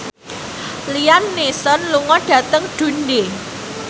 Liam Neeson lunga dhateng Dundee